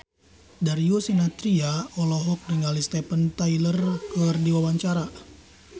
Darius Sinathrya olohok ningali Steven Tyler keur diwawancara